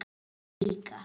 Hann líka.